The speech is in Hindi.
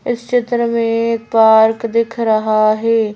इस चित्र में एक पार्क दिख रहा है।